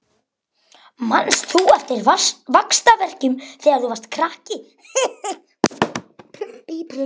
Manst þú eftir vaxtarverkjunum þegar þú varst krakki?